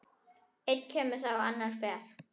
Einn kemur þá annar fer.